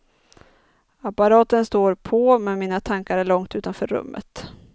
Apparaten står på men mina tankar är långt utanför rummet.